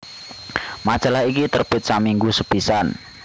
Majalah iki terbit saminggu pisan